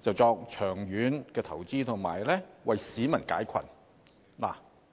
作長遠投資，為市民解困。